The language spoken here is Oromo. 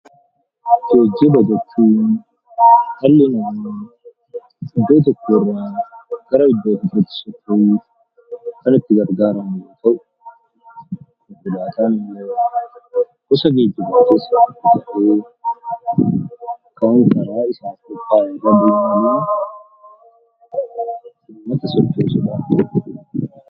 Geejjiba jechuun dhalli namaa iddoo tokkorraa gara iddoo tokkootti yommuu socho'ukan itti garagaaramu yoo ta'u, konkolaataawwan gosa geejjibaa keessaa tokko ta'ee, kan daandiirra deemuudhaan nama tajaajiludha.